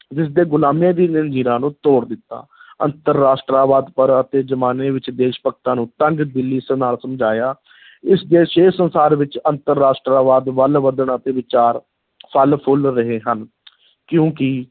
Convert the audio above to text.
ਜਿਸ ਦੇ ਗੁਲਾਮੀ ਦੀ ਜ਼ੰਜੀਰਾਂ ਨੂੰ ਤੋੜ ਦਿੱਤਾ ਅੰਤਰ-ਰਾਸ਼ਟਰਵਾਦ ਪਰ ਅਤੇ ਜ਼ਮਾਨੇ ਵਿੱਚ ਦੇਸ਼-ਭਗਤਾਂ ਨੂੰ ਤੰਗ-ਦਿੱਲੀ ਸਮਝਾਇਆ ਇਸ ਦੇ ਛੇ ਸੰਸਾਰ ਵਿੱਚ ਅੰਤਰ-ਰਾਸ਼ਟਰਵਾਦ ਵੱਲ ਵਧਣਾ ਅਤੇ ਵਿਚਾਰ ਫਲ-ਫੁੱਲ ਰਹੇ ਹਨ ਕਿਉਂਕਿ